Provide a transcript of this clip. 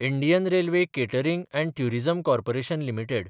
Indian railway catering & tourism corporation limited